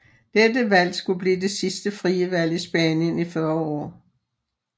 Dette valg skulle blive det sidste frie valg i Spanien i 40 år